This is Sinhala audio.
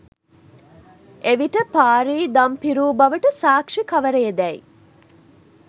එවිට පාරී දම් පිරූ බවට සාක්ෂි කවරේදැයි